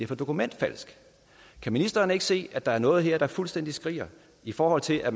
for dokumentfalsk kan ministeren ikke se at der er noget her der fuldstændig skriger i forhold til at